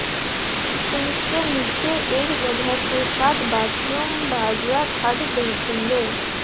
sink के नीचे एक जगह के साथ बाथरूम बाजरा ठाठ देखेंगे